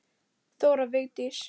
Þóra Vigdís.